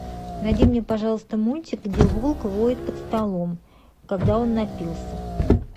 найди мне пожалуйста мультик где волк воет под столом когда он напился